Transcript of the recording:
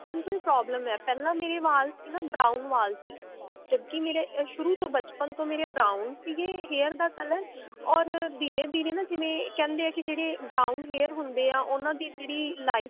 ਬਚਪਨ ਤੋਂ ਹੀ problem ਹੈ ਪਹਿਲਾਂ ਮੇਰੇ ਵਾਲ ਸੀ ਨਾ brown ਵਾਲ ਸੀ ਕਿਉਂਕਿ ਮੇਰੇ ਇਹ ਸ਼ੁਰੂ ਤੋਂ ਬਚਪਨ ਤੋਂ ਮੇਰੇ brown ਸੀਗੇ hair ਦਾ color or ਧੀਰੇ ਧੀਰੇ ਨਾ ਜਿਵੇਂ ਕਹਿੰਦੇ ਹੈ ਨਾ ਕਿ brown hair ਹੁੰਦੇ ਆ ਉਹਨਾ ਦੀ ਜਿਹੜੀ life